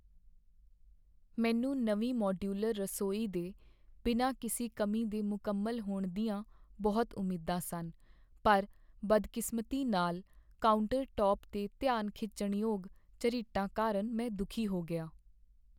ਮੈਨੂੰ ਨਵੀਂ ਮਾਡਿਊਲਰ ਰਸੋਈ ਦੇ ਬਿਨਾਂ ਕਿਸੇ ਕਮੀ ਦੇ ਮੁਕੰਮਲ ਹੋਣ ਦੀਆਂ ਬਹੁਤ ਉਮੀਦਾਂ ਸਨ, ਪਰ ਬਦਕਿਸਮਤੀ ਨਾਲ, ਕਾਊਂਟਰਟੌਪ 'ਤੇ ਧਿਆਨ ਖਿੱਚਣ ਯੋਗ ਝਰੀਟਾਂ ਕਾਰਨ ਮੈਂ ਦੁਖੀ ਹੋ ਗਿਆ।